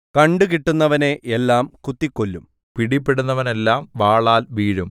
കണ്ടുകിട്ടുന്നവനെ എല്ലാം കുത്തിക്കൊല്ലും പിടിപെടുന്നവനെല്ലാം വാളാൽ വീഴും